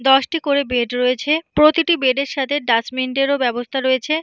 দশ টি করে বেড রয়েছে প্রতিটি বেড - এর সাথে ডাস্টবিন - এর ও ব্যাবস্তা রয়েছে।